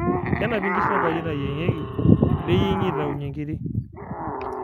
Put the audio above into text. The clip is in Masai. kenapi nkishu aya enkaji nayiengieki neyiemgi aitaunye nkiri